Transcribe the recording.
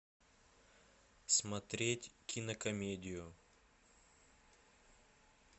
смотреть кинокомедию